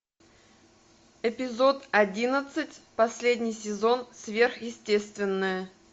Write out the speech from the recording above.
эпизод одиннадцать последний сезон сверхъестественное